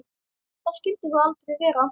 Það skyldi þó aldrei vera?